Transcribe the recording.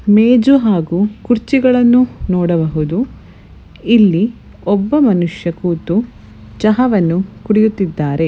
ಮೇಜು ಹಾಗೂ ಕುರ್ಚಿಗಳನ್ನು ನೋಡಬಹುದು ಇಲ್ಲಿ ಒಬ್ಬ ಮನುಷ್ಯ ಕೂತು ಚಹಾ ಅನ್ನು ಕುಡಿಯುತ್ತಿದ್ದಾನೆ.